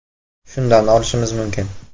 “Shundan olishimiz mumkin.